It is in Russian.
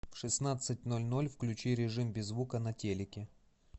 в шестнадцать ноль ноль включи режим без звука на телике